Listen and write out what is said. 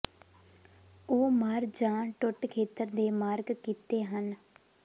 ਉਹ ਮਰ ਜ ਟੁੱਟ ਖੇਤਰ ਦੇ ਮਾਰਕ ਕੀਤੇ ਹਨ